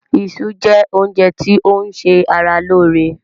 Isu jẹ́ oúnjẹ ti o ń se ara lóóre.